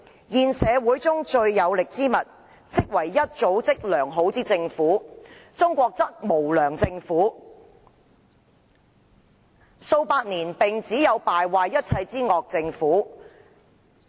現社會中最有力之物，即為一組織良好之政府。中國則並無良政府，數百年來只有敗壞一切之惡政府。